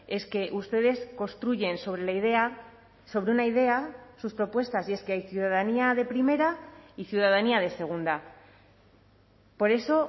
es que ustedes construyen sobre la idea sobre una idea sus propuestas y es que hay ciudadanía de primera y ciudadanía de segunda por eso